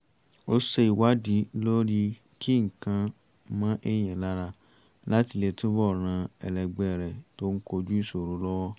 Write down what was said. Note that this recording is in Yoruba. ó ṣe ìwádìí lórí kí nǹkan mọ èèyàn lára láti lè túbọ̀ ran ẹlẹgbẹ́ rẹ̀ tó ń kojú ìṣòro lọ́wọ́